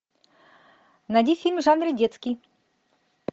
найди фильм в жанре детский